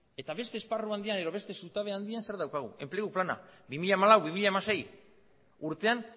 eta beste esparru handian edo beste zutabean handian zer daukagu enplegu plana bi mila hamalau bi mila hamasei urtean